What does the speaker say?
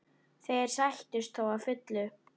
Þeir sættust þó að fullu.